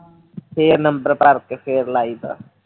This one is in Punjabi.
ਫਿਰ ਨੰਬਰ ਭਰ ਕੇ ਫਿਰ ਲਾਈਦਾ